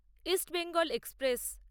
east Bengal express